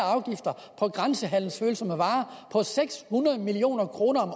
og grænsehandelsfølsomme varer på seks hundrede million kroner om